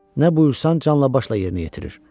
Nə buyursan canla başla yerinə yetirir.